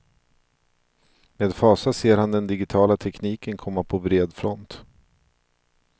Med fasa ser han den digitala tekniken komma på bred front.